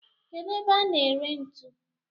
Kedu ebe a na ere ntu?